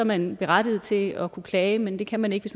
man berettiget til at kunne klage men det kan man ikke